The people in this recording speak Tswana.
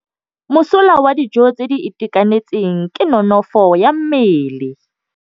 Mosola wa dijô tse di itekanetseng ke nonôfô ya mmele.